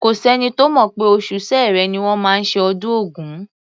Kò s’ẹ́ni tó mọ̀ pé oṣù Ṣẹẹrẹ ni wọ́n máa ṣe ọdún Ògún.